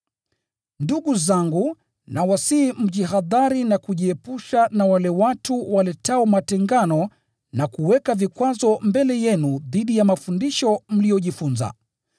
Ndugu zangu, nawasihi mjihadhari na kujiepusha na wale watu waletao matengano na kuweka vikwazo mbele yenu dhidi ya mafundisho mliyojifunza.